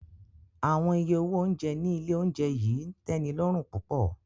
Awọn iye owo ounjẹ ni ile ounjẹ yii n tẹnilọrun pupọ.